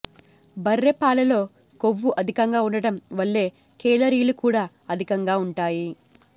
బర్రె పాలలో కొవ్వు అధికంగా ఉండటం వల్ల కేలరీలు కూడా అధికంగా ఉంటాయి